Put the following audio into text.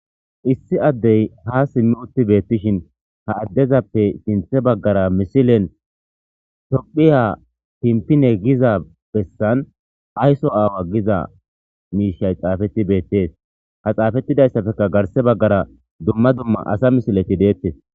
Issi adey ha Simi uti be'ishin ha adezape sinthe bagara misilen tophiya tintine giza besan ayso away xaafeti betes ha xaafetidaysapeka garsera bagara dumma dumma asa misiley betes